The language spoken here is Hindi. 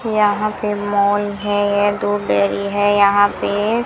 यहां पे मॉल है यह दूध डेरी है यहां पे--